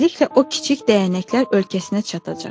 Tezliklə o kiçik dəyənəklər ölkəsinə çatacaq.